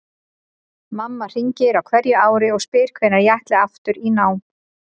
Mamma hringir á hverju ári og spyr hvenær ég ætli aftur í nám.